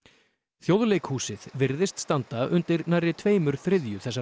Þjóðleikhúsið virðist standa undir nærri tveimur þriðju þessara